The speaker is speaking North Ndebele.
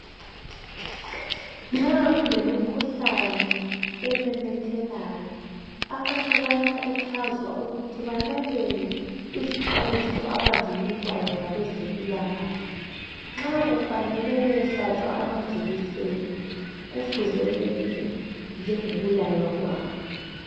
Nxa kulemikhuhlane ememethekayo abantu bayakhuthazwa ukuthi balalele izixwayiso abazinikwayo ngabe zempilakahle. Nxa kufanele beyehlatshwa amajekiseni kufuze benze njengokulaywa kwabo.